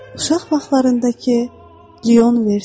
Uşaq vaxtlarındakı Leon Vertə.